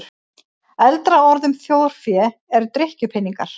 Eldra orð um þjórfé er drykkjupeningar.